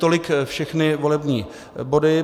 Tolik všechny volební body.